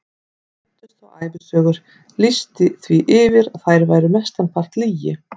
Leiddust þá ævisögur, lýsti því yfir að þær væru mestan part lygi.